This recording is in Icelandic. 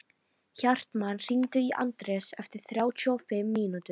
Hartmann, hringdu í Anders eftir þrjátíu og fimm mínútur.